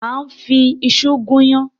À ń fi iṣu gún iyán.